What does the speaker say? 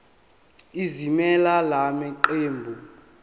ezimelele la maqembu